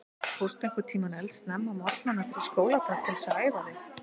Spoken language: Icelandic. Fórstu einhvern tímann eldsnemma á morgnana fyrir skóladag til þess að æfa þig?